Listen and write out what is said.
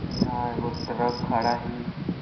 एहा एगो ट्रक खड़ा हे।